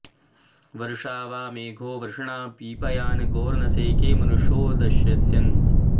वृषा॑ वां मे॒घो वृ॑षणा पीपाय॒ गोर्न सेके॒ मनु॑षो दश॒स्यन्